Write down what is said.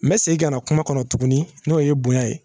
N bɛ segin ka na kuma kɔnɔ tuguni n'o ye bonya ye